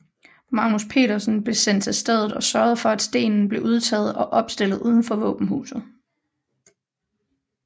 Magnus Petersen blev sendt til stedet og sørgede for at stenen blev udtaget og opstillet uden for våbenhuset